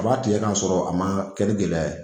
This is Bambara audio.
A b'a tigɛ ka sɔrɔ a ma kɛ ni gɛlɛya ye